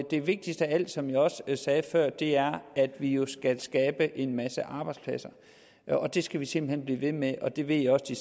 det vigtigste af alt som jeg også sagde før er at vi jo skal skabe en masse arbejdspladser det skal vi simpelt hen blive ved med det ved jeg også de